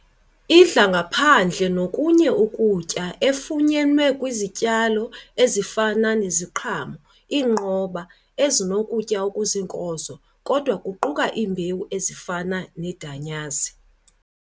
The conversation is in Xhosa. Idla ngaphandle nokunye ukutya efunyenwe kwi izityalo ezifana iziqhamo, iinqoba, ezinokutya okuziinkozo, kodwa kuquka iimbewu ezifana idanyaze.